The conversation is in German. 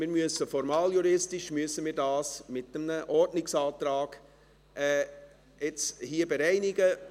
Wir müssen das jetzt hier formaljuristisch mit einem Ordnungsantrag bereinigen.